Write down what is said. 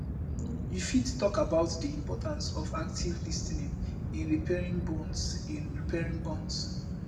you fit talk about di importance of active lis ten ing in repairing bonds in repairing bonds